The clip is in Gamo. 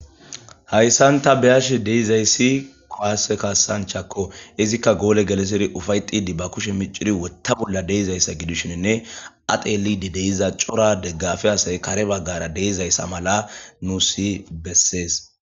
hayssan ta be7ash de7izayssi kuwase kasanchako izikka goole geleseri ufayxidi ba kushe miciri wotta bolla deizayssa gidishinine a xelidi de7iza cora deggafe asay kare baggara deizayssa mala nussi bessees